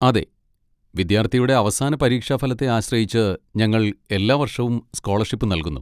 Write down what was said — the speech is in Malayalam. അതെ, വിദ്യാർത്ഥിയുടെ അവസാന പരീക്ഷാ ഫലത്തെ ആശ്രയിച്ച് ഞങ്ങൾ എല്ലാ വർഷവും സ്കോളർഷിപ്പ് നൽകുന്നു.